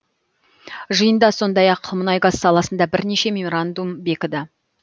жиында сондай ақ мұнай газ саласында бірнеше меморандум бекіді